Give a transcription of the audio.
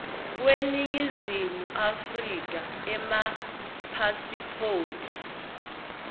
kweningizimu afrika emapasiphoti